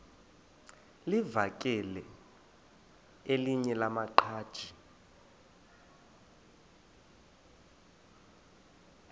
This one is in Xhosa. livakele elinye lamaqhaji